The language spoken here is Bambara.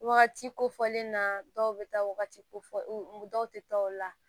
Wagati kofɔlen na dɔw bɛ taa wagati fɔ dɔw tɛ taa o la